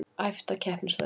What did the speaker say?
Æft á keppnisvellinum